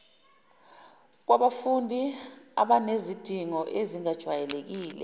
kwabafundi abanezidingo ezingajwayelekile